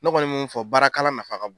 N kɔni mun fɔ, baarakalan nafa ka bon.